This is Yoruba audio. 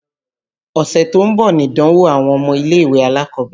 Ọ̀sẹ̀ tó ń bọ̀ nìdánwó àwọn ilé-ìwé alákọ̀ọ́bẹ̀rẹ̀.